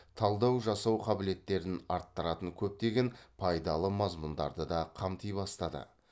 талдау жасау қабілеттерін арттыратын көптеген пайдалы мазмұндарды да қамти бастады